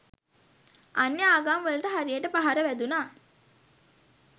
අන්‍ය ආගම්වලට හරියට පහර වැදුනා.